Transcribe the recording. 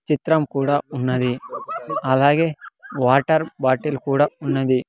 చిత్రం కూడా ఉన్నది అలాగే వాటర్ బాటిల్ కూడా ఉన్నది.